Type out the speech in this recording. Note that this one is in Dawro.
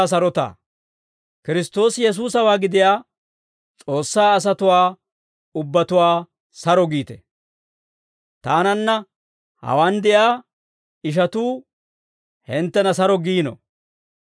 Kiristtoosi Yesuusawaa gidiyaa S'oossaa asatuwaa ubbatuwaa saro giite. Taananna hawaan de'iyaa ishatuu hinttena saro giino.